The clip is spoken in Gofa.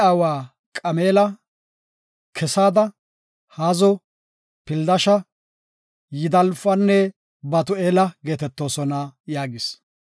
Araame aawa Qameela, Kesada, Haazo, Pildasha, Yidlaafanne Batu7eela geetetoosona” yaagis.